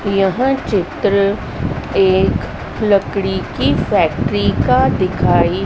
यह चित्र एक लकड़ी की फैक्ट्री का दिखाई--